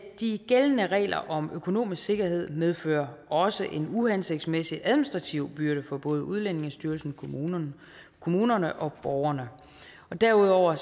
de gældende regler om økonomisk sikkerhed medfører også en uhensigtsmæssig administrativ byrde for både udlændingestyrelsen kommunerne kommunerne og borgerne derudover